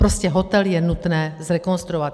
Prostě hotel je nutné zrekonstruovat.